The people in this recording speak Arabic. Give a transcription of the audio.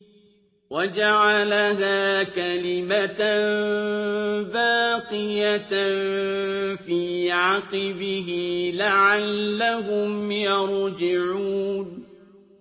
وَجَعَلَهَا كَلِمَةً بَاقِيَةً فِي عَقِبِهِ لَعَلَّهُمْ يَرْجِعُونَ